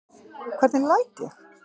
Hvernig læt ég?